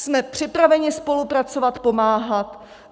Jsme připraveni spolupracovat, pomáhat!